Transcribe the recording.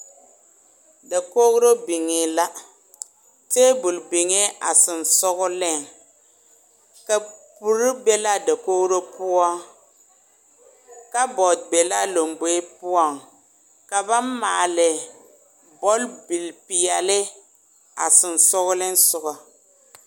Dakori biŋɛ la, tabol biŋɛ a sensɔleŋ kapuri be la a dakori poɔ kapbaord be la a lamboe poɔŋ ka ba maale bɔlbie pɛɛle a sensɔleŋ soga